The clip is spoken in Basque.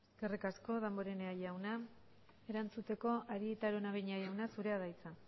eskerrik asko damborenea jauna erantzuteko arieta araunabeña jauna zurea da hitza